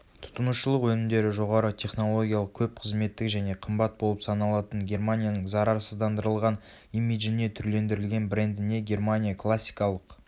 тұтынушылық өнімдері жоғары технологиялық көп қызметтік және қымбат болып саналатын германияның зарарсыздандырылған имиджіне түрлендірілген брендіне германия классикалық